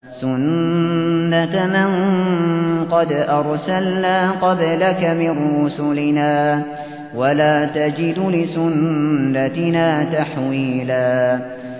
سُنَّةَ مَن قَدْ أَرْسَلْنَا قَبْلَكَ مِن رُّسُلِنَا ۖ وَلَا تَجِدُ لِسُنَّتِنَا تَحْوِيلًا